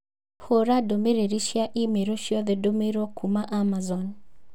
hũũra ndũmĩrĩri cia i-mīrū ciothe ndũmĩirũo kuuma kũrĩ Amazon.